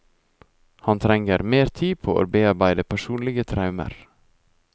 Han trenger mer tid til å bearbeide personlige traumer.